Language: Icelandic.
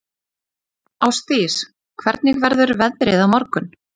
Ásdís, hvernig verður veðrið á morgun?